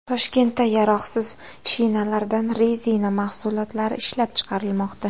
Toshkentda yaroqsiz shinalardan rezina mahsulotlari ishlab chiqarilmoqda.